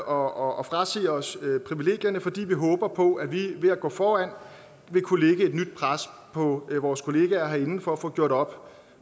og frasige os privilegierne fordi vi håber på at vi ved at gå foran vil kunne lægge et nyt pres på vores kollegaer herinde for at gjort op